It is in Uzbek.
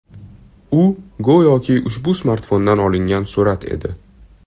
U, go‘yoki ushbu smartfondan olingan surat edi.